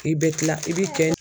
I bɛ kila i bɛ kɛ